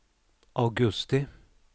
augusti